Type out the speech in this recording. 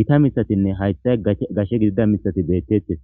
gita mithatinne hathay gashshe gidida mithati beettettes